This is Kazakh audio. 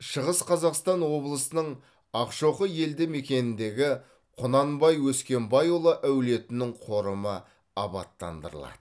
шығыс қазақстан облысының ақшоқы елді мекеніндегі құнанбай өскенбайұлы әулетінің қорымы абаттандырылады